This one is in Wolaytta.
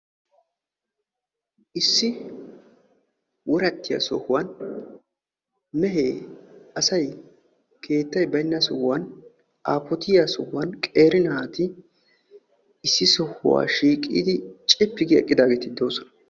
issi worattiya sohuwan mehee, asay, keettay baynna sohuwan aafottiya sohuwani qeeri naati issi sohuwa shiiqidi cippi gi uttidaageeti de'oosona.